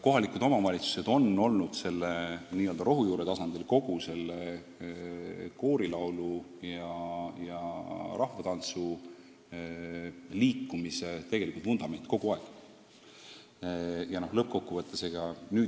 Kohalikud omavalitsused on rohujuure tasandil kogu koorilaulu- ja rahvatantsuliikumise tegelikud vundamendid olnud kogu aeg.